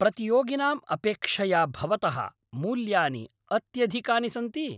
प्रतियोगिनां अपेक्षया भवतः मूल्यानि अत्यधिकानि सन्ति।